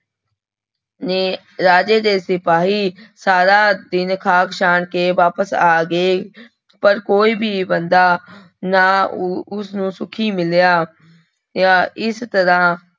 ਨੇ ਰਾਜੇ ਦੇ ਸਿਪਾਹੀ ਸਾਰਾ ਦਿਨ ਖਾਕ ਸਾਣ ਕੇ ਵਾਪਸ ਆ ਗਏ ਪਰ ਕੋਈ ਵੀ ਬੰਦਾ ਨਾ ਉ ਉਸ ਨੂੰ ਸੁਖੀ ਮਿਲਿਆ, ਆ ਇਸ ਤਰ੍ਹਾਂ